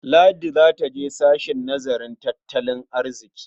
Ladi za ta je sashen nazarin tattalin arziƙi.